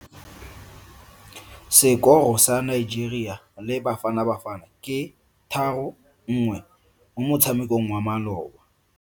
Sekoro sa Nigeria le Bafanabafana ke 3-1 mo motshamekong wa maloba.